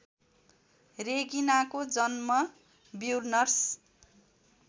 रेगिनाको जन्म ब्युनर्स